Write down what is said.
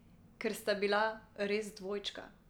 Ker sta bila res dvojčka.